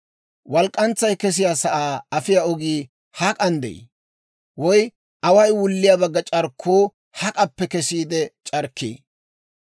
Walk'k'antsay kesiyaa sa'aa afiyaa ogii hak'an de'ii? Woy away wulliyaa bagga c'arkkuu hak'appe kesiide c'arkkii?